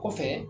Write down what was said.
Kɔfɛ